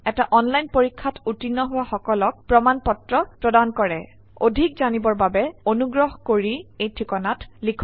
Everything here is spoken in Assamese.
এটা অনলাইন পৰীক্ষাত উত্তীৰ্ণ হোৱা সকলক প্ৰমাণ পত্ৰ প্ৰদান কৰে অধিক জানিবৰ বাবে অনুগ্ৰহ কৰি contactspoken tutorialorg এই ঠিকনাত লিখক